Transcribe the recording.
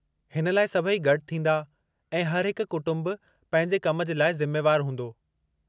हिन लाइ सभई गॾु थींदा, ऐं हर हिकु कुटुंबु पंहिंजे कम जे लाइ ज़िमेवदारु हूंदो।